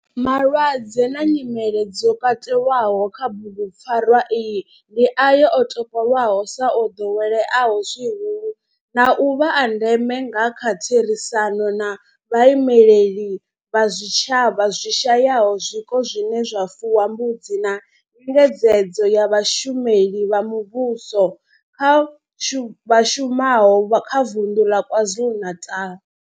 Malwadze na nyimele zwo katelwaho kha bugupfarwa iyi ndi ayo o topolwaho sa o doweleaho zwihulu na u vha a ndeme nga kha therisano na vhaimeleli vha zwitshavha zwi shayaho zwiko zwine zwa fuwa mbudzi na nyengedzedzo ya vhashumeli vha muvhusho vha shumaho kha Vundu la KwaZulu-Natal.